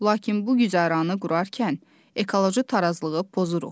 Lakin bu güzəranı qurarkən ekoloji tarazlığı pozuruq.